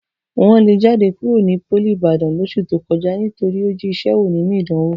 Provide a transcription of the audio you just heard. Wọ̀n lé Jídé kúrò ní pólì Ìbàdàn lóṣù tó kọjá nítorí ó jí iṣẹ́ wò nínú ìdánwò